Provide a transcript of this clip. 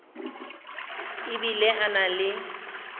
e bile a na le